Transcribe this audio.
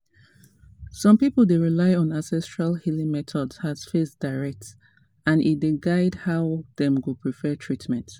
some people dey rely on ancestral healing methods as faith direct and e dey guide how dem go prefer treatment.